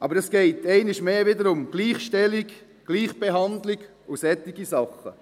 Aber es geht einmal mehr wieder um Gleichstellung, Gleichbehandlung und solche Dinge.